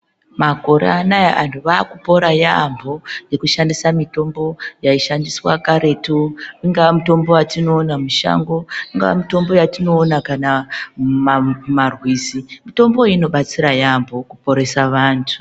akore anaya antu vaakupona yaambo nekushandisa mitombo yaishandiswa karetu, ingaa mitombo yatinoona mushango, ingaa mitombo yatinoona kana mumarwizi. Mitombo iyi inobatsira yaambo kuporesa vantu.